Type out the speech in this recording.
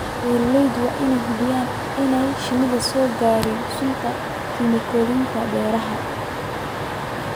Beeralayda waa in ay hubiyaan in aanay shinnidu soo gaadhin sunta kiimikooyinka beeraha.